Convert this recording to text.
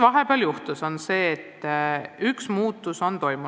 Vahepeal on juhtunud see, et üks muutus on toimunud.